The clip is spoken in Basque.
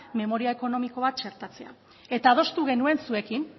memoria ekonomikoa txertatzea eta adostu genuen zuekin